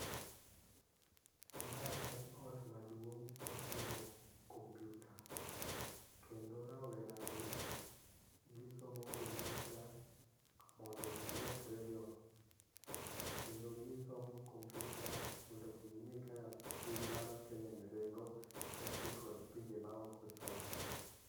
Mae en ot maduong' moting'o kompiuta, kendo raweragi gisomo kompiuta mondo gimedrego kendo gisomo kompiuta mondo ging'e kaka piny mar Kenya ni ringo kaachiel kod pinje maoko chalo.